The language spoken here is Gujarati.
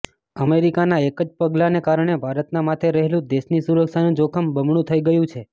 અમેરિકાના એક જ પગલાંને કારણે ભારતના માથે રહેલું દેશની સુરક્ષાનું જોખમ બમણું થઇ ગયું છે